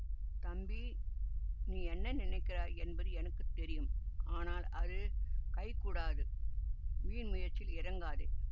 தம்பி நீ என்ன நினைக்கிறாய் என்பது எனக்கு தெரியும் ஆனால் அது கைகூடாது வீண் முயற்சியில் இறங்காதே